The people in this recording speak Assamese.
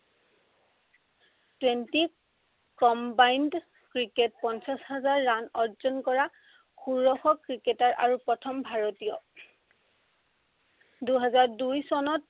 twenty combined ক্ৰিকেট পঞ্চাশ হাজাৰ run অৰ্জন কৰা ষোড়শ ক্ৰিকেটাৰ আৰু প্ৰথম ভাৰতীয়। দুহেজাৰ দুই চনত